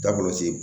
Da kɔlɔsi